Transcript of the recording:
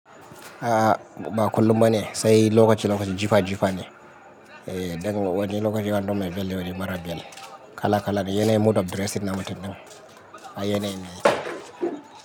A'a ba kullum ba ne, sai lokaci-lokaci jufa-jufa ne. Eh, idan wani lokaci wani domin bel wani mara bel, kala-kala ne. Yana yi mood of dressing namutin din. A yana yi ne.